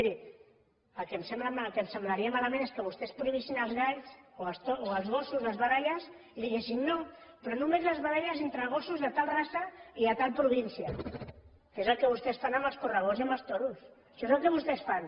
miri el que em sembla malament el que em semblaria malament és que vostès prohibissin els galls o els gossos les baralles i diguessin no però només les baralles entre gossos de tal raça i de tal província que és el que vostès fan amb els correbous i amb els toros això és el que vostès fan